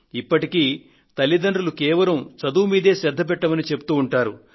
ఇప్పటికీ తల్లిదండ్రులు కేవలం చదువు మీదే శ్రద్ధ పెట్టమని చెబుతూ ఉంటారు